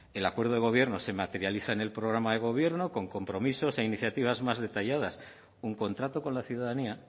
el acuerdo de gobierno se materializa en el programa de gobierno con compromisos e iniciativas más detalladas un contrato con la ciudadanía